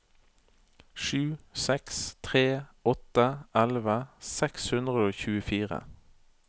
sju seks tre åtte elleve seks hundre og tjuefire